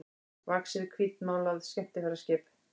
vaxið hvítmálað skemmtiferðaskip.